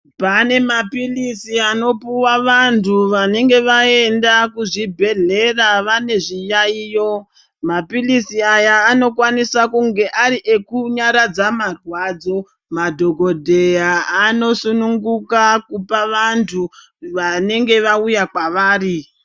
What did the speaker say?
Pane maphilizi anopuwa vantu vanenge vaenda kuzvibhedhlera vane zviyaiyo. Maphilizi aya anokwanisa kunga ari ekunyaadza marwadzo. Madhogodheya anosununguka kupa vantu vanenge vauya kwavari.